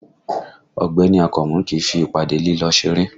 Ọ̀gbẹ́ni Akànmú kìí fi ìpàdé lílọ ṣeré